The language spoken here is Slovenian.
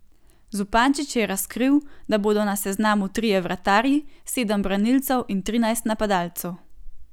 Zupančič je razkril, da bodo na seznamu trije vratarji, sedem branilcev in trinajst napadalcev.